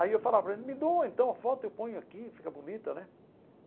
Aí eu falava, me doa, então a foto eu ponho aqui, fica bonita né.